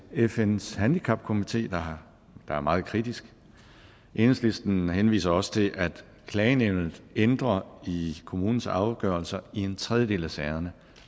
fns handicapkomité der er meget kritisk enhedslisten henviser også til at klagenævnet ændrer i kommunens afgørelser i en tredjedel af sagerne